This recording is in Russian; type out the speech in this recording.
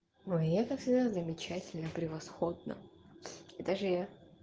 но я как всегда замечательно превосходно и даже я